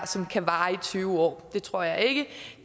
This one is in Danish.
som kan vare i tyve år det tror jeg ikke